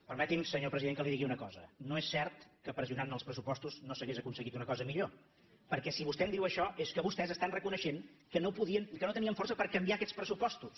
permeti’m senyor president que li digui una cosa no és cert que pressionant en els pressupostos no s’hagués aconseguit una cosa millor perquè si vostè em diu això és que vostès estan reconeixent que no tenien força per canviar aquests pressupostos